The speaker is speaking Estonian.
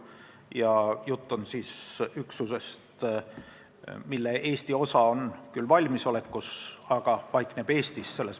Ja jutt on üksusest, mille Eesti osa on küll valmisolekus, aga paikneb Eestis.